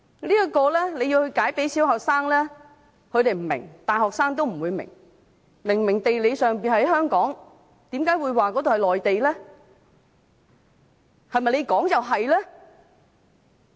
如果要向小學生解釋，他們不會明白，大學生也不會明白，明明地理上屬於香港，為何會說那裏是內地呢？